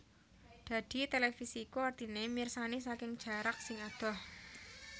Dadi televisi iku artine mirsani saking jarak sing adoh